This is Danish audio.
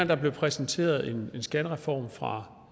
der blev præsenteret en skattereform fra